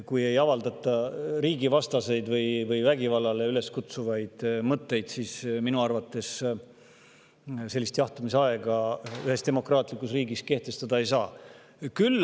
Kui ei avaldata riigivastaseid või vägivallale üleskutsuvaid mõtteid, siis minu arvates sellist jahtumisaega demokraatlikus riigis kehtestada ei saa.